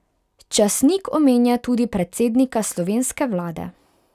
Časnik omenja tudi predsednika slovenske vlade.